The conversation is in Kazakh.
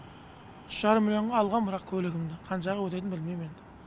үш жарым миллионға алғам бірақ көлігімді қанша өтетінін білмейм енді